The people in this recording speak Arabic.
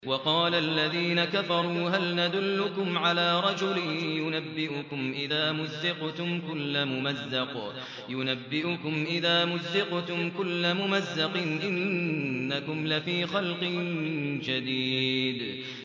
وَقَالَ الَّذِينَ كَفَرُوا هَلْ نَدُلُّكُمْ عَلَىٰ رَجُلٍ يُنَبِّئُكُمْ إِذَا مُزِّقْتُمْ كُلَّ مُمَزَّقٍ إِنَّكُمْ لَفِي خَلْقٍ جَدِيدٍ